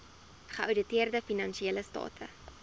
geouditeerde finansiële state